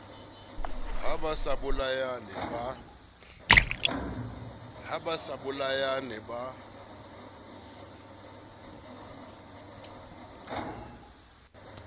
ha ba sa bolayane ba